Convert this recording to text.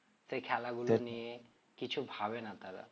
সেই খেলাগুলো নিয়ে কিছু ভাবে না তারা